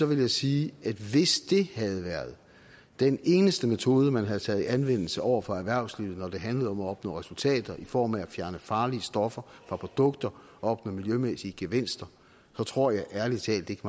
vil jeg sige at hvis det havde været den eneste metode man havde taget i anvendelse over for erhvervslivet når det handlede om at opnå resultater i form af at fjerne farlige stoffer fra produkter og opnå miljømæssige gevinster så tror jeg ærlig talt ikke